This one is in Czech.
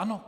Ano.